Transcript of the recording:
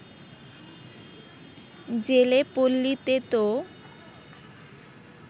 জেলে পল্লীতে তো